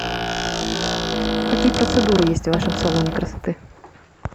какие процедуры есть в вашем салоне красоты